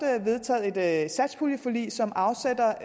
der er vedtaget et satspuljeforlig som afsætter